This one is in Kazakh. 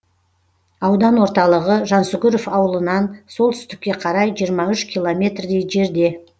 аудан орталығы жансүгіров ауылынан солтүстікке қарай жиырма үш километрдей жерде